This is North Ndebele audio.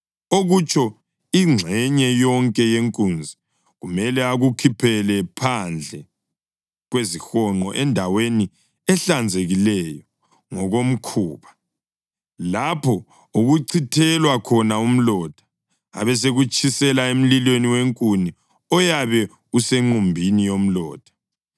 okutsho ingxenye yonke yenkunzi, kumele akukhuphele phandle kwezihonqo endaweni ehlanzekileyo ngokomkhuba, lapho okuchithelwa khona umlotha, abesekutshisela emlilweni wenkuni oyabe usenqumbini yomlotha.